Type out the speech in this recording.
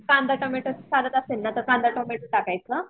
कांदा टोमॅटो चालत असेल तर कांदा टोमॅटो टाकायचं.